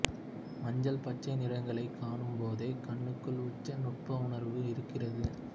மஞ்சள் பச்சை நிறங்களைக் காணும் போதே கண்ணுக்கு உச்ச நுட்பவுணர்வு இருக்கிறது